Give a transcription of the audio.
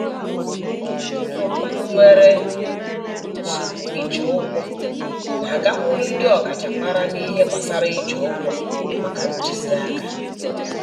Ọtụtụ ndị mmadụ ndị nwere nsogbu iji ụgwọ na-agakwuru ndị ọkachamara n'ihe gbasara iji ụgwọ maka ntụziaka